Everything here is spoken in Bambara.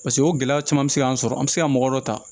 Paseke o gɛlɛya caman bɛ se k'an sɔrɔ an bɛ se ka mɔgɔ dɔ ta